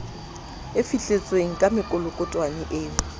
e fihletsweng ka mekolokotwane eo